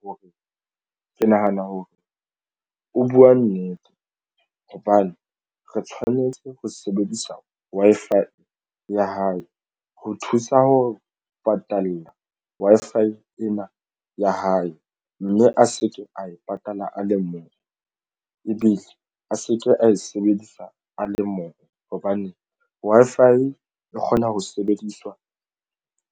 Hore ke nahana hore o buwa nnete hobane re tshwanetse ho sebedisa Wi-Fi ya hae ho thusa ho patala Wi-Fi ena ya hae, mme a se ke a e patala a le mong, ebile a se ke ae sebedisa a le mong hobane Wi-Fi e kgona ho sebediswa